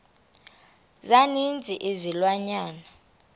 za ninzi izilwanyana